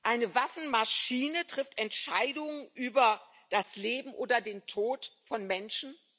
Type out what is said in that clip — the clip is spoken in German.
Eine Waffenmaschine trifft Entscheidungen über das Leben oder den Tod von Menschen?